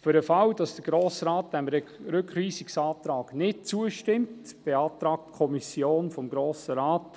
Für den Fall, dass der Grosse Rat dem Rückweisungsantrag nicht zustimmt, beantragt die Kommission dem Grossen Rat